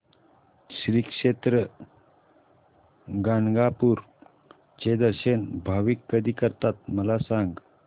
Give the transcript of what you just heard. श्री क्षेत्र गाणगापूर चे दर्शन भाविक कधी करतात मला सांग